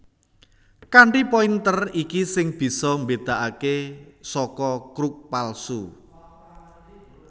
Kanthi pointer iki sing bisa mbédakaké saka crux palsu